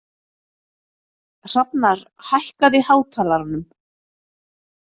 Hrafnar, hækkaðu í hátalaranum.